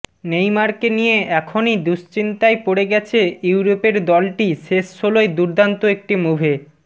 নেইমারকে নিয়ে এখনই দুশ্চিন্তায় পড়ে গেছে ইউরোপের দলটি শেষ ষোলোয় দুর্দান্ত একটি মুভে